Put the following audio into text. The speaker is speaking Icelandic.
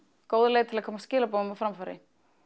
góð leið til að koma skilaboðum á framfæri